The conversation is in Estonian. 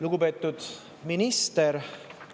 Lugupeetud minister!